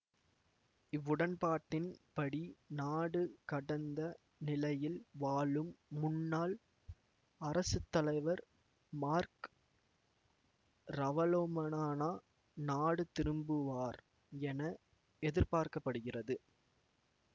இவ்வுடன்பாட்டின் படி நாடு கடந்த நிலையில் வாழும் முன்னாள் அரசு தலைவர் மார்க் ரவலொமனானா நாடு திரும்புவார் என எதிர்பார்க்க படுகிறது